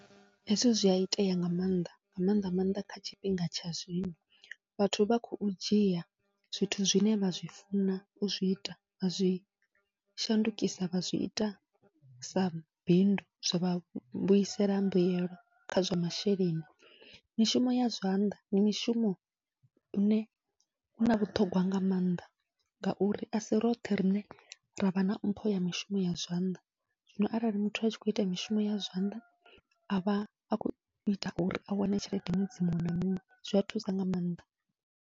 Hezwi zwia itea nga maanḓa nga maanḓa maanḓa kha tshifhinga tsha zwino, vhathu vha khou dzhia zwithu zwine vha zwi funa uzwi ita vha zwi shandukisa vha zwi ita sa bindu zwavha vhuisela mbuyelo kha zwa masheleni, mishumo ya zwanḓa ndi mishumo une u na vhuṱhongwa nga mannḓa. Ngauri asi roṱhe riṋe ravha na mpho ya mishumo ya zwanḓa, zwino arali muthu atshi khou ita mishumo ya zwanḓa avha a khou ita uri a wane tshelede ṅwedzi muṅwe na muṅwe zwia thusa nga maanḓa.